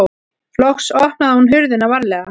Loks opnaði hún hurðina varlega.